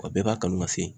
O bɛɛ b'a kanu ka se